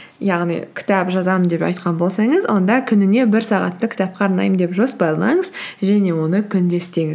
яғни кітап жазамын деп айтқан болсаңыз онда күніне бір сағатты кітапқа арнаймын деп жоспарлаңыз және оны күнде істеңіз